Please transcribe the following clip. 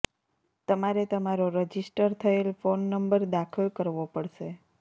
તમારે તમારો રજિસ્ટર થયેલ ફોન નંબર દાખલ કરવો પડશે